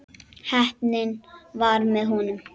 Heppnin var með honum.